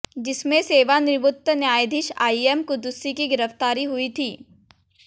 जिसमें सेवानिवृत्त न्यायाधीश आईएम कुद्दुसी की गिरफ्तारी हुई थी